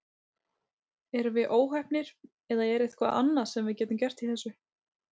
Erum við óheppnir eða er eitthvað annað sem við getum gert í þessu?